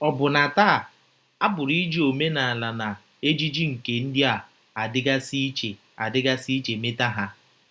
Ọbụna taa, a pụrụ iji omenala na ejiji nke ndị a dịgasị iche a dịgasị iche mata ha.